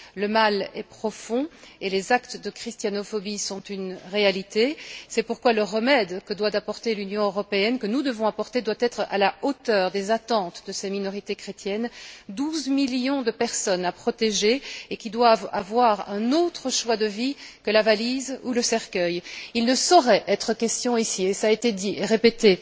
Le mal est profond, et les actes de christianophobie sont une réalité. C'est pourquoi le remède que doit apporter l'Union européenne, que nous devons apporter, doit être à la hauteur des attentes de ces minorités chrétiennes, douze millions de personnes à protéger et qui doivent avoir un autre choix de vie que la valise ou le cercueil. Il ne saurait être question ici, et cela a été dit et répété,